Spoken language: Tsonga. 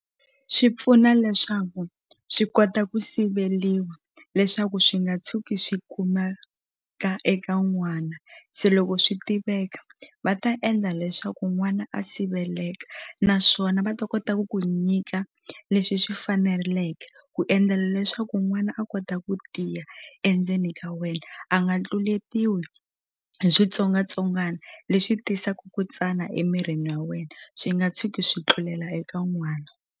Swi pfuna leswaku swi kota ku siveliwa leswaku swi nga tshuki swi kumeka eka n'wana se loko swi tiveka va ta endla leswaku n'wana a siveleka naswona va ta kota ku ku nyika leswi swi faneleke ku endlela leswaku n'wana a kota ku tiya endzeni ka wena a nga tluletiwi hi switsongwatsongwana leswi tisaku ku tsana emirini wa wena swi nga tshuki swi tlulela eka n'wana.